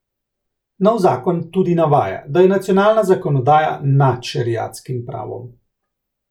Nov zakon tudi navaja, da je nacionalna zakonodaja nad šeriatskim pravom.